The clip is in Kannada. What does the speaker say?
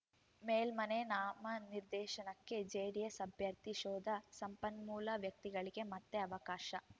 ಮೇಲ್ಮನೆ ನಾಮನಿರ್ದೇಶನಕ್ಕೆ ಜೆಡಿಎಸ್‌ ಅಭ್ಯರ್ಥಿ ಶೋಧ ಸಂಪನ್ಮೂಲ ವ್ಯಕ್ತಿಗಳಿಗೆ ಮತ್ತೆ ಅವಕಾಶ